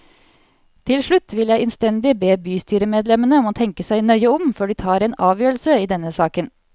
Til slutt vil jeg innstendig be bystyremedlemmene om å tenke seg nøye om før de tar en avgjørelse i denne saken.